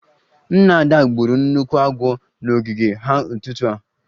Nna Ada gburu nnukwu agwọ n'ogige ha n'ụtụtụ a